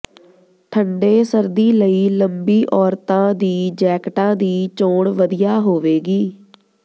ਠੰਡੇ ਸਰਦੀ ਲਈ ਲੰਬੀ ਔਰਤਾਂ ਦੀ ਜੈਕਟਾਂ ਦੀ ਚੋਣ ਵਧੀਆ ਹੋਵੇਗੀ